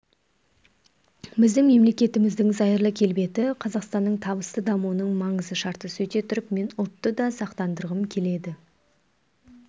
біздің мемлекетіміздің зайырлы келбеті қазақстанның табысты дамуының маңызды шарты сөйте тұрып мен ұлтты да сақтандырғым келеді